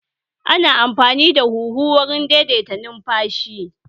Ana amfani da huhu wurin daidaita numfashi